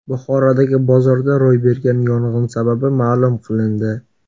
Buxorodagi bozorda ro‘y bergan yong‘in sababi ma’lum qilindi.